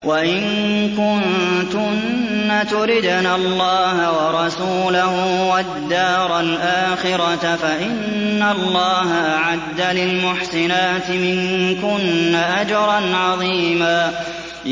وَإِن كُنتُنَّ تُرِدْنَ اللَّهَ وَرَسُولَهُ وَالدَّارَ الْآخِرَةَ فَإِنَّ اللَّهَ أَعَدَّ لِلْمُحْسِنَاتِ مِنكُنَّ أَجْرًا عَظِيمًا